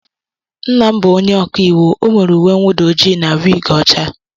Nna m bụ ónyé ọkà íwú, o nwere uwe nnwuda ojii na wig ọcha.